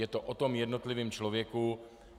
Je to o tom jednotlivém člověku.